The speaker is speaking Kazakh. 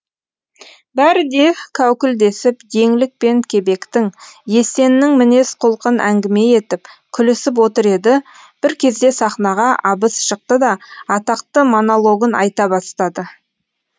бәрі де кәукілдесіп еңлік пен кебектің есеннің мінез құлқын әңгіме етіп күлісіп отыр еді бір кезде сахнаға абыз шықты да атақты монологын айта бастады